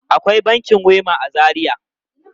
Akwai bankin Wema a Zaria?